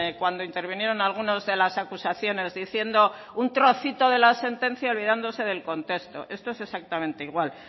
cuando intervinieron algunas de las acusaciones diciendo un trocito de la sentencia olvidándose del contexto esto es exactamente igual